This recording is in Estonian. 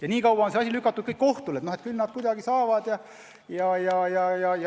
Seni on probleem lükatud kohtu kaela, et küll nad kuidagi saavad hakkama.